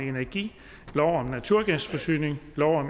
energi forsynings